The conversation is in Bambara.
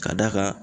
Ka d'a kan